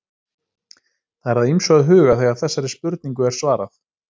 Það er að ýmsu að huga þegar þessari spurningu er svarað.